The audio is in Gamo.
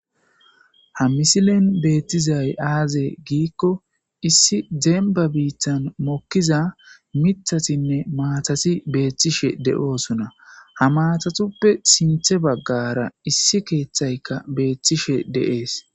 Hamisilen beettizay aaze giikko issi demba biittan mokkiza mithatinne maatati beettishe de'oosuna Hamatatuppe sinthe baggara issi keeththayka beettishe deees.